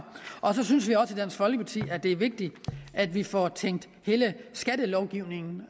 og så synes vi også i dansk folkeparti at det er vigtigt at vi får tænkt hele skattelovgivningen